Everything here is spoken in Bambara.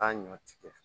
A ɲɔ tigɛ